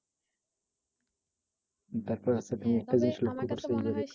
তারপর হচ্ছে তুমি একটা